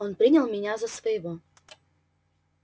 он принял меня за своего